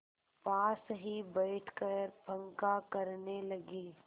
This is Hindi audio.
पास ही बैठकर पंखा करने लगी